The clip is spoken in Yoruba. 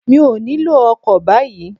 Mi ò nílò ọkọ̀ báyìí